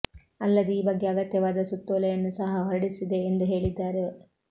ಅಲ್ಲದೆ ಈ ಬಗ್ಗೆ ಅಗತ್ಯವಾದ ಸುತ್ತೋಲೆಯನ್ನು ಸಹ ಹೊರಡಿಸಿದೆ ಎಂದು ಹೇಳಿದ್ದಾರೆ